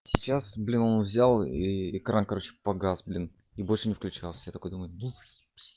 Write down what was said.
сейчас блин он взял и экран короче погас блин и больше не включался я так думаю ну заебись